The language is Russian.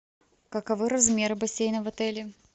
каковы размеры бассейна в отеле